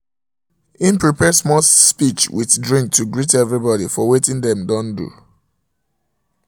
he prepare small speech with drink to greet everybody for watin dem don do